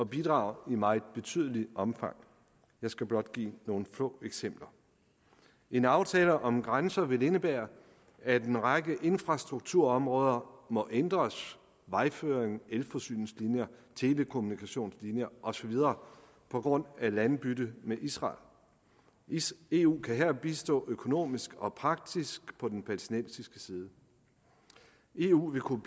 bidrage i meget betydeligt omfang jeg skal blot give nogle få eksempler en aftale om grænser vil indebære at en række infrastrukturområder må ændres vejføring elforsyningslinjer telekommunikationslinjer og så videre på grund af landbytte med israel eu kan her bistå økonomisk og praktisk på den palæstinensiske side eu vil kunne